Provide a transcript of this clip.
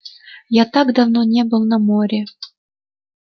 я так давно не был на море